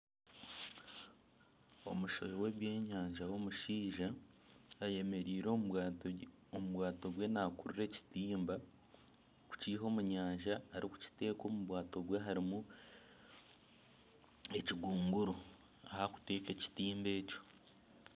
Omushohi w'ebyenyanja w'omushaija ayemereire omu bwato bwe naakurura ekitimba kukiiha omu nyanja arikukita omu bwato bwe harimu ekigongoro ahu arikuta ekitimba ekyo